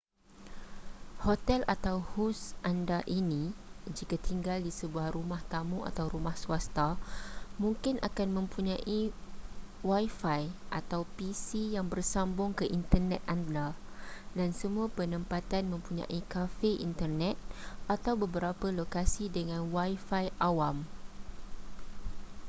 hotel atau hos anda ini jika tinggal di sebuah rumah tamu atau rumah swasta mungkin akan mempunyai wifi atau pc yang bersambung ke internet anda dan semua penempatan mempunyai kafe internet atau beberapa lokasi dengan wifi awam